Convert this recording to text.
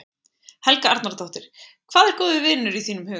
Helga Arnardóttir: Hvað er góður vinur í þínum huga?